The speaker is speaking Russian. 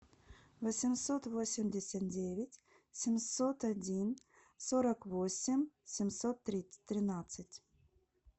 восемьсот восемьдесят девять семьсот один сорок восемь семьсот тринадцать